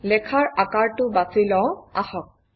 লেখাৰ আকাৰটো বাছি লওঁ আহক